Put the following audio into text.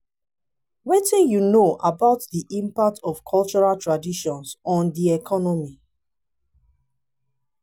wetin you know about di impact of cultural traditions on di economy?